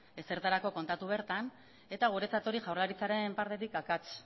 ez da ezertarako kontatu bertan eta guretzat hori jaurlaritzaren partetik akats